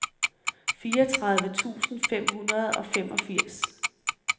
fireogtredive tusind fem hundrede og femogfirs